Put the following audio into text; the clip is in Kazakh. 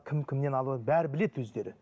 кім кімнен алады бәрін біледі өздері